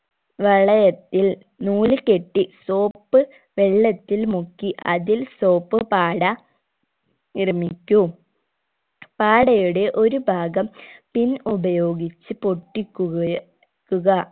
വളയത്തിൽ നൂല് കെട്ടി soap വെള്ളത്തിൽ മുക്കി അതിൽ soap പാട നിർമിക്കൂ പാടയുടെ ഒരു ഭാഗം പിൻ ഉപയോഗിച്ച് പൊട്ടിക്കുകയൊ ക്കുക